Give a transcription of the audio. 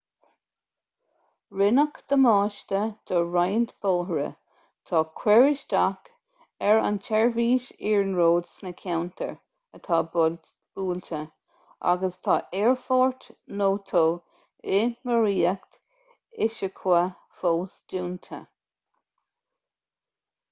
rinneadh damáiste do roinnt bóithre tá cur isteach ar an tseirbhís iarnróid sna ceantair atá buailte agus tá aerfort noto i maoracht ishikawa fós dúnta